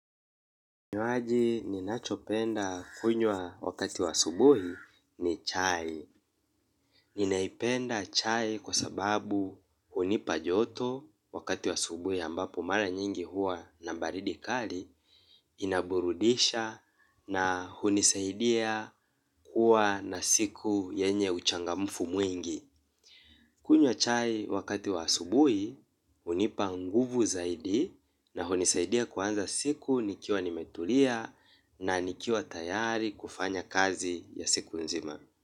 Kinywaji ninachopenda kunywa wakati wa asubuhi ni chai. Ninaipenda chai kwa sababu hunipa joto wakati wa aubuhi ambapo mara nyingi huwa na baridi kali inaburudisha na hunisaidia kuwa na siku yenye uchangamfu mwingi. Kunywa chai wakati wa asubuhi, hunipa nguvu zaidi na hunisaidia kuanza siku nikiwa nimetulia na nikiwa tayari kufanya kazi ya siku nzima.